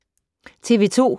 TV 2